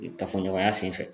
kafoɲɔgɔnya senfɛ.